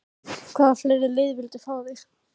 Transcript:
Hvaða fleiri lið vildu fá þig?